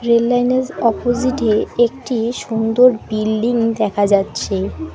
Rail line -এর opposite -এ একটি সুন্দর বিল্ডিং দেখা যাচ্ছে।